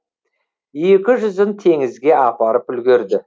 екі жүзін теңізге апарып үлгерді